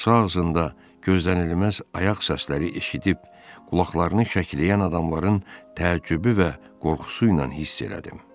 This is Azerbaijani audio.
qapısı ağzında gözlənilməz ayaq səsləri eşidib qulaqlarını şəkləyən adamların təəccübü və qorxusu ilə hiss elədim.